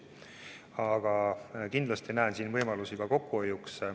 Aga kindlasti ma näen võimalusi kokkuhoiuks.